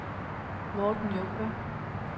Morten Junker